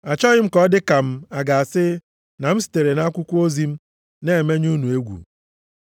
Achọghị ka ọ dịka m a ga-asị na m sitere nʼakwụkwọ ozi m na-emenye unu egwu.